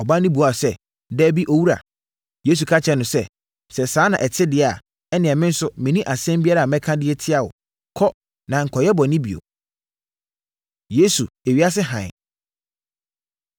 Ɔbaa no buaa Yesu sɛ, “Dabi, Owura.” Yesu ka kyerɛɛ no sɛ, “Sɛ saa na ɛte deɛ a, ɛnneɛ me nso menni asɛm biara a mɛka de atia wo. Kɔ, na nkɔyɛ bɔne bio.” Yesu, Ewiase Hann